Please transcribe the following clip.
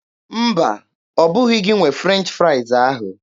Mba, ọbụghị gị nwe French fraịz ahụ.